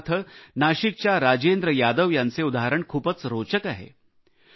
उदाहरणार्थ नाशिकच्या राजेंद्र यादव यांचे उदाहरण खूपच रोचक आहे